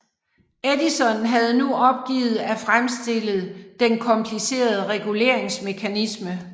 Edison havde nu opgivet at fremstille den komplicerede reguleringsmekanisme